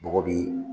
Bɔgɔ bi